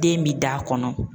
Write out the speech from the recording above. Den bi da kɔnɔ.